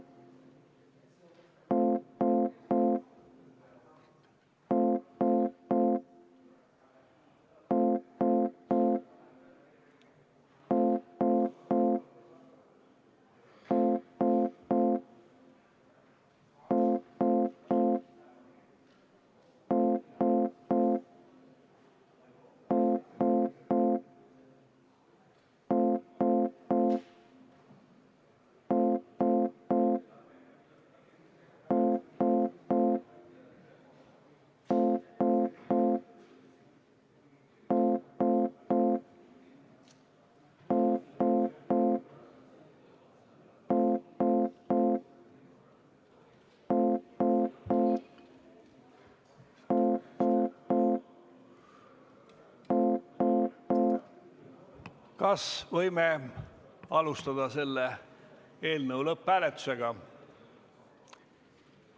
Kas võime alustada eelnõu lõpphääletust?